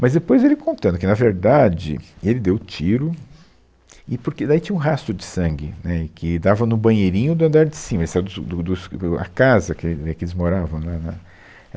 Mas depois ele contando que, na verdade, ele deu o tiro e porque daí tinha um rastro de sangue, né e que dava no banheirinho do andar de cima, ele saiu do su do do es do a casa que e que eles moravam, né né